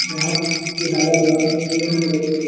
यहाँ की हवा बहुत ही शुद्ध होती --